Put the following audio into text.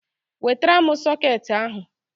Wetara m sọkeetị ahụ!